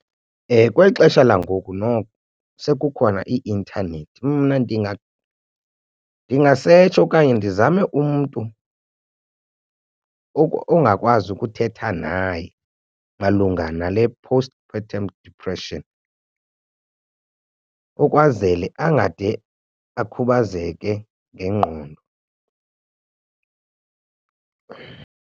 Kweli xesha langoku noko sekukhona ii-intanethi mna ndingasetsha okanye ndizame umntu ongakwazi ukuthetha naye malunga nale postpartum depression ukwazele angade akhubazeke ngengqondo.